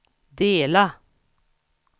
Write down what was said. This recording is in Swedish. dela